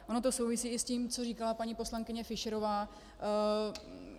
Ono to souvisí i s tím, co říkala paní poslankyně Fischerová.